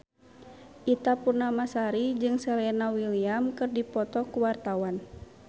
Ita Purnamasari jeung Serena Williams keur dipoto ku wartawan